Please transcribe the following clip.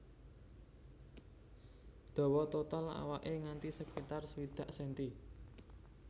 Dawa total awaké nganti sekitar swidak senti